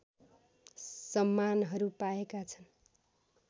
सम्मानहरू पाएका छन्